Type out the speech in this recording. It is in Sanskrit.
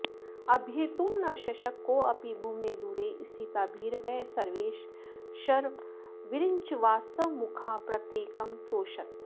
अभ्येतुं न शशक कोऽपि भुवने दूरे स्थिता भीरवः सर्वे शर्वविरिञ्चवासवमुखाः प्रत्येकमस्तोषत